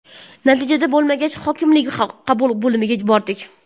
Natija bo‘lmagach, hokimlik qabul bo‘limiga bordik.